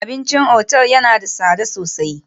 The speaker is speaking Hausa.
Abincin otal yana da tsada sosai